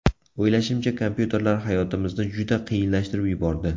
O‘ylashimcha, kompyuterlar hayotimizni juda qiyinlashtirib yubordi.